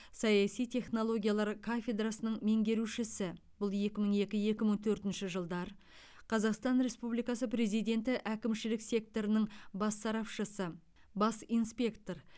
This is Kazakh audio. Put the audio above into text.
саяси технологиялар кафедрасының меңгерушісі бұл екі мың екі екі мың төртінші жылдар қазақстан республикасы президенті әкімшілік секторының бас сарапшысы бас инспектор